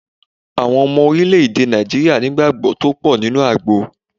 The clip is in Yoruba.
Àwọn Ọmọ Orílè-èdè Nàìjíríà ní ìgbàgbó tó pò nínú àgbo